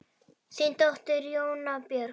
Þín dóttir, Jóna Björg.